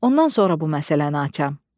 Ondan sonra bu məsələni açam.